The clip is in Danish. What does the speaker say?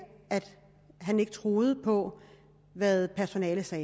han ikke tror på hvad personalet siger